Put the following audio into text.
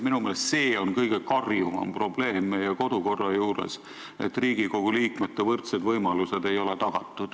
Minu meelest on see meie kodukorra kõige karjuvam probleem, et Riigikogu liikmetele ei ole tagatud võrdsed võimalused.